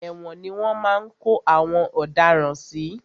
Ẹ̀wòn ni wọ́n máa ń kó àwọn ọ̀daràn sí.